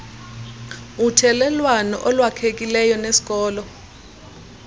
uthelelwano olwakhekileyo nesikolo